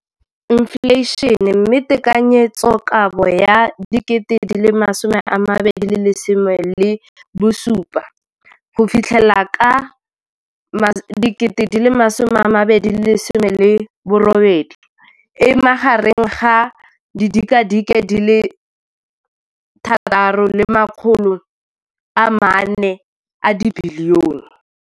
Infleišene, mme tekanyetsokabo ya 2017, 18, e magareng ga R6.4 bilione.